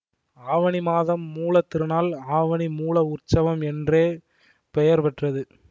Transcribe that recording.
ஆவணி மாதம் மூல திருநாள் ஆவணி மூலஉற்சவம் என்றே பெயர் பெற்றது